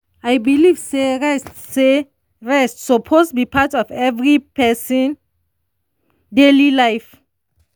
i believe say rest say rest suppose be part of every person daily life.